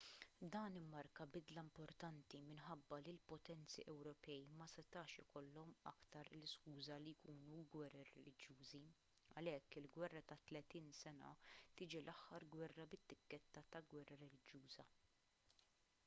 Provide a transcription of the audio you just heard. dan immarka bidla importanti minħabba li l-potenzi ewropej ma setax ikollhom aktar l-iskuża li jkunu gwerer reliġjużi għalhekk il-gwerra ta' tletin sena tiġi l-aħħar gwerra bit-tikketta ta' gwerra reliġjuża